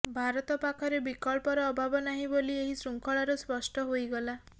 ଭାରତ ପାଖରେ ବିକଳ୍ପର ଅଭାବ ନାହିଁ ବୋଲି ଏହି ଶୃଙ୍ଖଳାରୁ ସ୍ପଷ୍ଟ ହୋଇଗଲା